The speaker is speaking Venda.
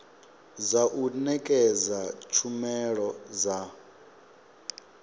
dza u nekedza tshumelo dza